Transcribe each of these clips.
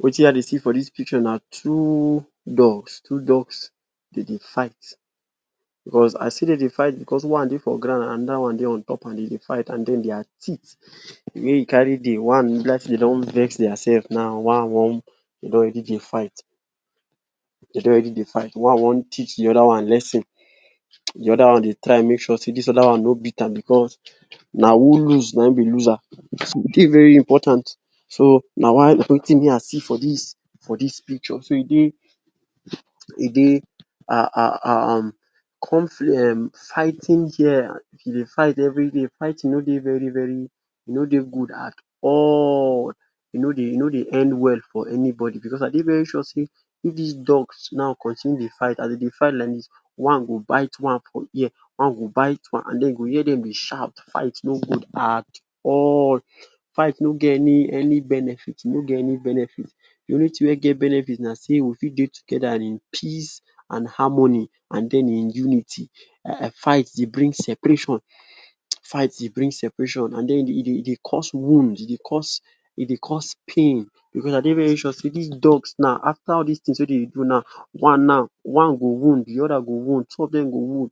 Wetin I dey see for dis picture na two dogs, two dogs dey dey fight, becos I see dey dey fight becos one dey for ground another one dey on top am dey dey fight and den dia teeth, de way wey e carry dey, one e be like sey dey don vex dia selves. Now one want, dey don already dey fight, dey don already dey fight. One want teach de other one lesson, de other one dey try make sure sey dis other one no beat am becos na who loose na im be loser, so e dey very important. So na why na wetin me, I see for dis, for dis picture so e dey, e dey um um fighting here, e dey fight everyday. Fighting no dey very very, e no dey good at all, e no dey e no dey end well for anybody becos I dey very sure sey if dis dogs now continue dey fight, as dey dey fight like dis, one go bite one for ear, one go bite one and den you go hear dem dey shout, fight no good at all, fight no get any any benefit, e no get any benefit. De only thing wey get benefit na sey we fit dey together in peace and harmony and den in unity, um fight dey bring separation um fight dey bring separation and den e dey cause wound, e dey cause, e dey cause pain becos I dey very sure sey dis dogs now, after all dis things wey dem dey do now, one now, one go wound, de other go wound, two of dem go wound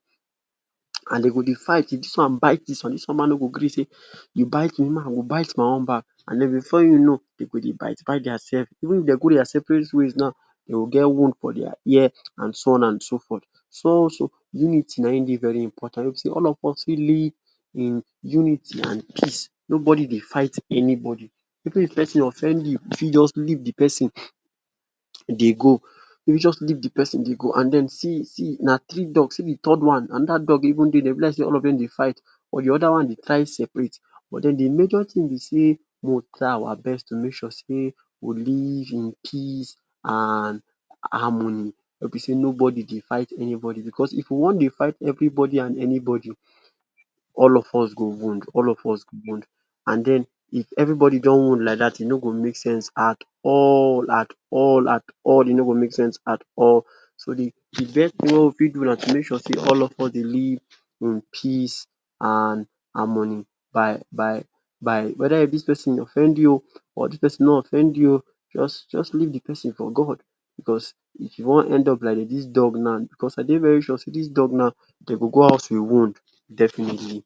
and dey go dey fight, if dis one bite dis one, dis one ma no go gree sey you bite me, me ma I go bite my own back and den before you know, dey go dey bite bite dia selves. Even if dey go dia separate ways now, dey go get wound for dia ear and so on and so forth. So unity na im dey very important wey be sey all of us fit live in unity and peace, nobody dey fight anybody. Even if person offend you, you fit just leave de person dey go, you fit just leave de person dey go and den see see, na three dog, see de third one, another dog even dey there, e be like sey all of dem dey fight but de other one dey try separate but then de major thing be sey mo try our best to make sure sey we live in peace and harmony wey be sey nobody dey fight anybody becos if we want dey fight everybody and anybody, all of us go wound, all of us go wound and den if everybody don wound like dat, e no go make sense at all, at all, at all, e no go make sense at all. So de best thing wey we fit do na to make sure sey all of us dey live in peace and harmony by by by whether if dis person offend you o or dis person no offend you o just, just leave de person for god becos, if you want end up like dem dis dog now, becos I dey very sure sey dis dog now, dey go go house with wound definitely.